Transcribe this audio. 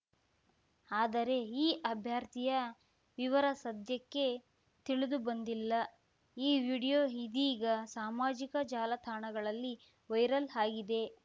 ಆದರೆ ಈ ಅಭ್ಯರ್ಥಿಯ ವಿವರ ಸದ್ಯಕ್ಕೆ ತಿಳಿದುಬಂದಿಲ್ಲ ಈ ವಿಡಿಯೋ ಇದೀಗ ಸಾಮಾಜಿಕ ಜಾಲತಾಣಗಳಲ್ಲಿ ವೈರಲ್‌ ಆಗಿದೆ